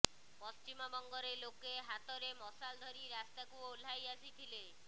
ପଶ୍ଚିମବଙ୍ଗରେ ଲୋକେ ହାତରେ ମଶାଲ ଧରି ରାସ୍ତାକୁ ଓହ୍ଲାଇ ଆସିଥିଲେ